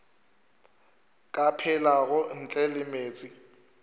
ka phelago ntle le meetse